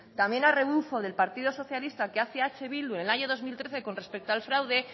también a rebufo del partido socialista que hace eh bildu en el año dos mil trece con respecto al fraude